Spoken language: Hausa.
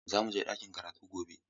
Za mu je ɗakin karatu gobe.